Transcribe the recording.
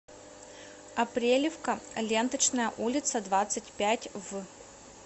апрелевка ленточная улица двадцать пять в